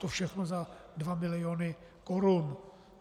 To všechno za 2 miliony korun.